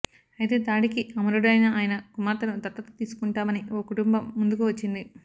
అయితే దాడికి అమరుడైన ఆయన కుమార్తెను దత్తత తీసుకుంటామని ఓ కుటుంబం ముందుకు వచ్చింది